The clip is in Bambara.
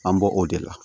An bɔ o de la